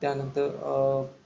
त्यानंतर अं